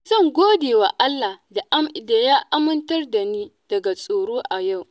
Zan godewa Allah da ya amintar da ni daga tsoro a yau.